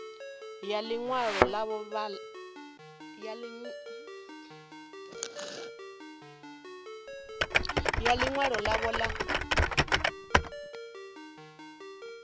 ya ḽi ṅwalo ḽavho ḽa